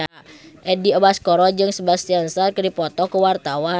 Edi Brokoli jeung Sebastian Stan keur dipoto ku wartawan